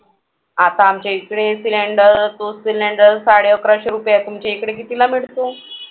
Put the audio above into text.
आता आमच्या इकडे cylinder तो cylinder साडे अकराशे रुपये आहे. तुमच्या इकडे कितीला मिळतो?